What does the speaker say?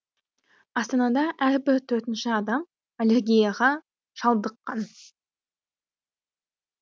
астанада әрбір төртінші адам аллергияға шалдыққан